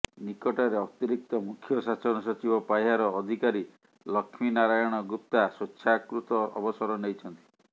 ନିକଟରେ ଅତିରିକ୍ତ ମୁଖ୍ୟ ଶାସନ ସଚିବ ପାହ୍ୟାର ଅଧିକାରୀ ଲକ୍ଷ୍ମୀ ନାରାୟଣ ଗୁପ୍ତା ସ୍ବେଚ୍ଛାକୃତ ଅବସର େନଇଛନ୍ତି